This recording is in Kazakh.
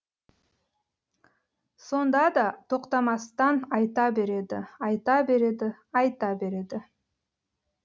сонда да тоқтамастан айта береді айта береді айта береді